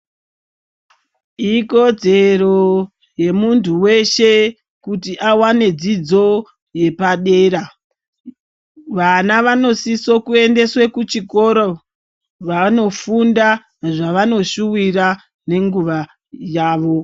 Ikodzero yemuntu weshe kuti awane dzidzo yepadera , vana vanosiso kuendeswe kuchikoro , fanofunda zvavanoshuvira nenguva yavo